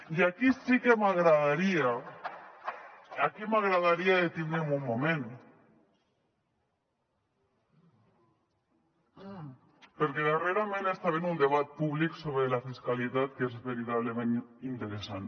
i aquí sí que m’agradaria detindre’m un moment perquè darrerament estem en un debat públic sobre la fiscalitat que és veritablement interessant